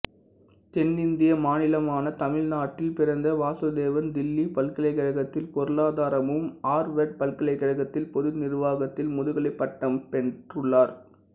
தென்னிந்திய மாநிலமான தமிழ்நாட்டில் பிறந்த வாசுதேவன் தில்லி பல்கலைக்கழகத்தில் பொருளாதாரமும் ஆர்வர்டு பல்கலைக்கழகத்தில் பொது நிர்வாகத்தில் முதுகலைப் பட்டம் பெற்றுள்ளார்